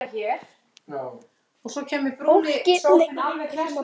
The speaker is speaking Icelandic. Fólkið er í áfalli.